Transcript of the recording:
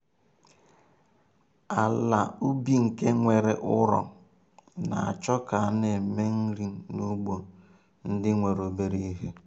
ala ubi nke nwere ụrọ na-achọ ka a na-eme nri n'ugbo ndị nwere obere ihe.